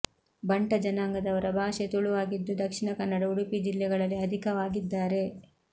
ಬಂಟ ಜನಾಂಗದವರ ಭಾಷೆ ತುಳುವಾಗಿದ್ದು ದಕ್ಷಿಣ ಕನ್ನಡ ಉಡುಪಿ ಜಿಲ್ಲೆಗಳಲ್ಲಿ ಅಧಿಕವಾಗಿದ್ದಾರೆ